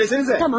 Söyləsənizə!